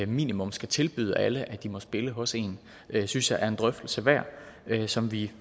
minimum skal tilbyde alle de må spille for hos en synes jeg er en drøftelse værd som vi